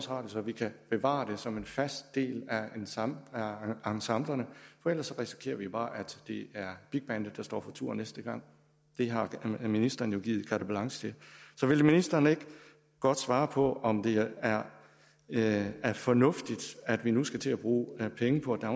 radio så vi kan bevare det som en fast del af ensemblerne for ellers risikerer vi bare at det er big bandet der står for tur næste gang det har ministeren jo givet carte blanche til så vil ministeren ikke godt svare på om det er det er fornuftigt at vi nu skal til at bruge penge på at